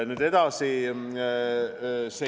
Nüüd edasi.